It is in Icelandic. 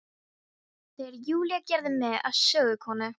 Þegar Júlía gerði mig að sögukonu.